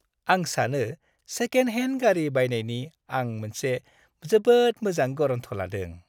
आं सानो सेकेन्ड-हेन्ड गारि बायनायनि आं मोनसे जोबोद मोजां गरन्थ लादों।